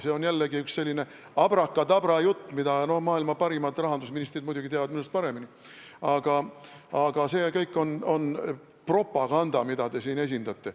See on jällegi selline abrakadabra jutt , aga see kõik on propaganda, mida te siin esindate.